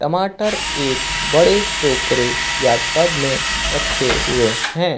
टमाटर एक बड़े टोकरे या टब में रखे हुए हैं।